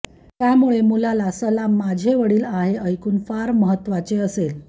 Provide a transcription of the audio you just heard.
त्यामुळे मुलाला सलाम माझे वडील आहे ऐकून फार महत्वाचे असेल